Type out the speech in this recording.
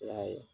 I y'a ye